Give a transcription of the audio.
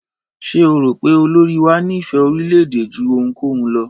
Ṣé o rò pé olórí wá ní ìfé orílẹ̀-èdè jú ohunkóhun lọ?